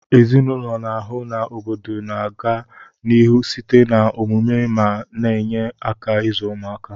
Ezinụlọ n'ahu na obodo na aga n'ihu site na omumu ma na enye aka izu ụmaka